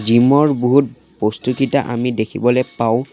জিমৰ বহুত বস্তুকেইটা আমি দেখিবলৈ পাওঁ।